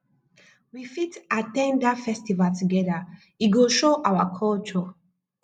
we fit at ten d that festival together e go show our culture